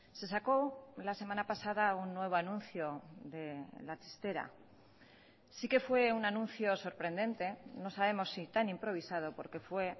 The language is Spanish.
se sacó la semana pasada un nuevo anuncio de la chistera sí que fue un anuncio sorprendente no sabemos si tan improvisado porque fue